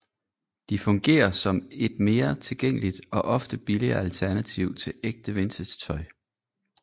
De fungerer som et mere tilgængeligt og ofte billigere alternativ til ægte vintagetøj